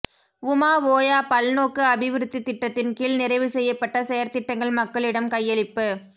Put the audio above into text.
உமா ஓயா பல்நோக்கு அபிவிருத்தி திட்டத்தின் கீழ் நிறைவுசெய்யப்பட்ட செயற்திட்டங்கள் மக்களிடம் கையளிப்பு